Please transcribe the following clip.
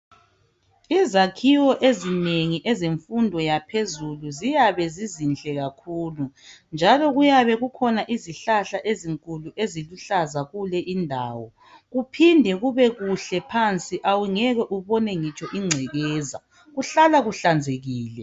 Izakhiwo ezinengi ezemfundo yaphezulu ziyabe zizinhle kakhulu njalo kuyabe kukhona izihlahla ezinkulu eziluhlaza kule indawo. Kuphinde kubekuhle phansi awungeke ubone ngitsho ingcekeza kuhlala kuhlanzekile.